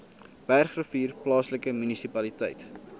bergrivier plaaslike munisipaliteit